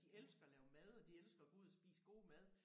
De elsker at lave mad og de elsker at gå ud og spise god mad